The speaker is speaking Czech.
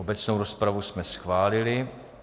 Obecnou rozpravu jsme schválili.